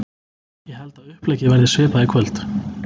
Ég held að uppleggið verði svipað í kvöld.